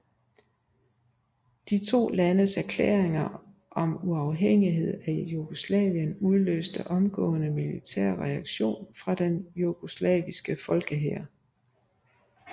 De to landes erklæringer om uafhængighed af Jugoslavien udløste omgående militær reaktion fra den jugoslaviske folkehær